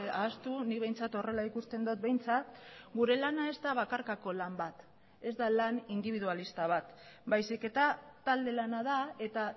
ahaztu nik behintzat horrela ikusten dut behintzat gure lana ez da bakarkako lan bat ez da lan indibidualista bat baizik eta talde lana da eta